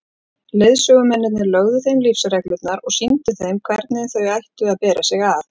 Leiðsögumennirnir lögðu þeim lífsreglurnar og sýndu þeim hvernig þau ættu að bera sig að.